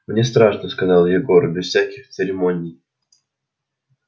мне страшно сказал егор без всяких церемоний